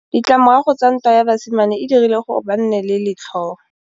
Ditlamorago tsa ntwa ya basimane e dirile gore ba nne le letlhôô.